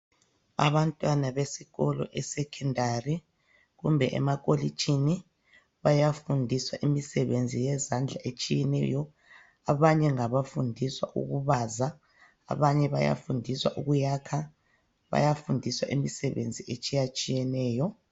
Abantwana besikolo esecondary kumbe emakolitshini bayafundiswa imisebenzi yezandla etshiyeneyo. Abanye ngabafundiswa ukubaza, abanye bayafundiswa ukuyakha bayafundiswa imisebenzi etshiyatshiyeneyo.